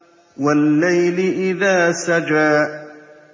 وَاللَّيْلِ إِذَا سَجَىٰ